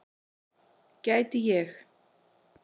Gæti ég.